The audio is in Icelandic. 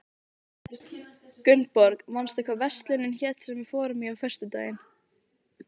Gunnborg, manstu hvað verslunin hét sem við fórum í á föstudaginn?